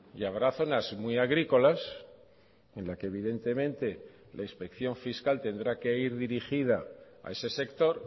y habrá zonas muy agrícolas en la que evidentemente la inspección fiscal tendrá que ir dirigida a ese sector